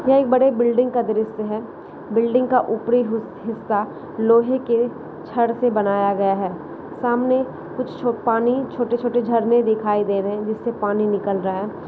यह एक बड़े बिल्डिंग का दृश्य है बिल्डिंग का ऊपरी ही-हिस्सा लोहे के छड़ से बनाया गया है सामने कुछ छ- पानी छोटे-छोटे झरने दिखाई दे रहे है जिससे पानी निकल रहा है।